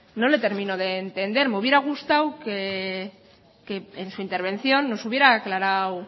no le termino de entender me hubiera gustado que en su intervención nos hubiera aclarado